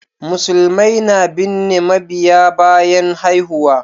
Musulmai na binne mabiyya bayan haihuwa